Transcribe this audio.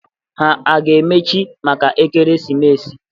Ha a ga-emechi maka ekeresimesi?